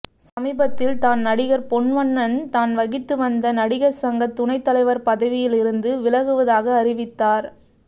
சமீபத்தில் தான் நடிகர் பொன்வண்ணன் தான் வகித்து வந்த நடிகர் சங்க துணை தலைவர் பதவியில் இருந்து விலகுவதாக அறிவித்தார்